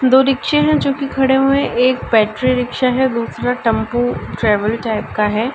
दो रिक्शे हैं जो कि खड़े हुए हैं। एक बैटरी रिक्शा है दूसरा टम्पू ट्रेवल टाइप का है।